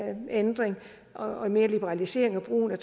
en ændring og mere liberaliseret brug af